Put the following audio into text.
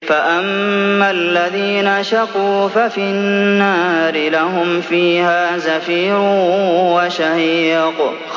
فَأَمَّا الَّذِينَ شَقُوا فَفِي النَّارِ لَهُمْ فِيهَا زَفِيرٌ وَشَهِيقٌ